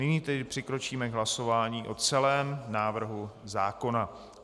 Nyní tedy přikročíme k hlasování o celém návrhu zákona.